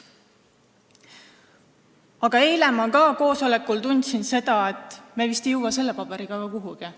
Aga eile ma koosolekul tundsin, et me vist ei jõua selle paberiga ka kuhugi.